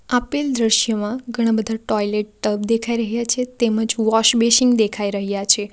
આપેલ દ્રશ્યમાં ઘણા બધા ટોયલેટ ટબ દેખાઈ રહ્યા છે તેમજ વોશ બેસિન દેખાઈ રહ્યા છે.